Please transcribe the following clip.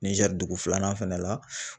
Nizɛri dugu filanan fɛnɛ la.